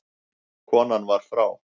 Konan var frá